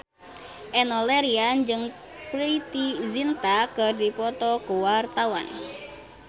Enno Lerian jeung Preity Zinta keur dipoto ku wartawan